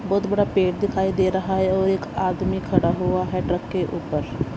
बहुत बड़ा पेड़ दिखाई दे रहा है और एक आदमी खड़ा हुआ है ट्रक के ऊपर।